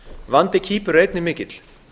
vandi kýpur er einnig mikill